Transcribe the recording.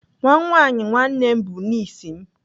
Nwa nwaanyị nwanne m bụ nis m.